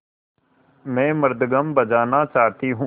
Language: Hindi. मैं मृदंगम बजाना चाहती हूँ